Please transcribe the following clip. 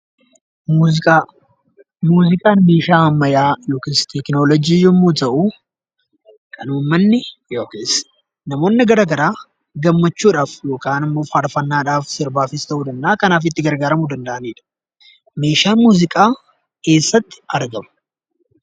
Muuziqaa. Muuziqaan meeshaa ammayyaa yokiis teknoolojii yommuu ta'uu kan uummanni yokiis namoonni garagaraa gammachuudhaaf yokaanimmoo farfannaadhaaf sirbaafis ta'uu danda'aa kanaaf itti gargaaramuu danda'aniidha. Meeshaan muuziqaa eessatti argama?